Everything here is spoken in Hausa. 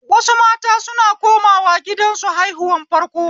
Wasu mata suna komawa gidansu haihuwan farko